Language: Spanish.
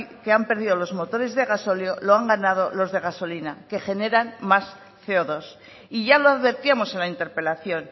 que han perdido los motores de gasóleo lo han ganado los de gasolina que generan más ce o dos y ya lo advertíamos en la interpelación